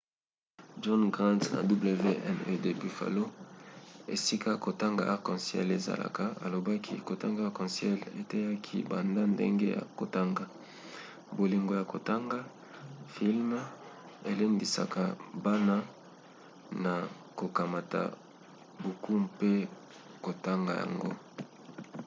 john grant ya wned buffalo esika kotanga arc en ciel ezalaka alobaki kotanga arc en ciel eteyaki banda ndenge ya kotanga,... bolingo ya kotanga — [filme] elendisaka bana na kokamata buku mpe kotonga yango.